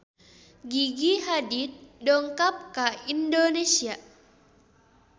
Gigi Hadid dongkap ka Indonesia